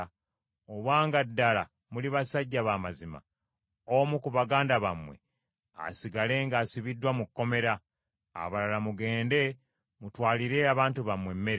obanga ddala muli basajja b’amazima, omu ku baganda bammwe asigale ng’asibiddwa mu kkomera, abalala mugende mutwalire abantu bammwe emmere,